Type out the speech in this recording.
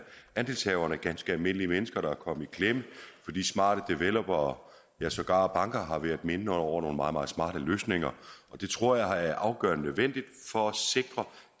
andelshaverne altså ganske almindelige mennesker der er kommet i klemme fordi smarte developere og sågar banker har været inde over meget meget smarte løsninger og det tror jeg er afgørende nødvendigt for at sikre